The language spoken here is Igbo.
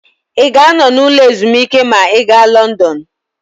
Ị ga-anọ n'ụlọ ezumike ma ị gaa Lọndọnụ?